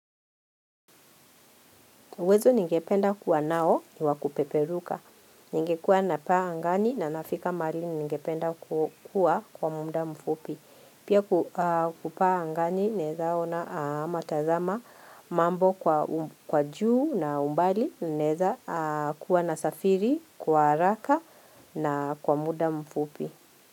Uwezo ningependa kuwa nao ni wa kupeperuka. Ningekuwa napaa angani na nafika mahali ningependa kuwa kwa muda mfupi. Pia kupaa angani naeza ona ama tazama mambo kwa juu na umbali naeza kuwa nasafiri kwa haraka na kwa muda mfupi.